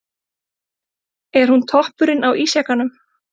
Er hún toppurinn á ísjakanum?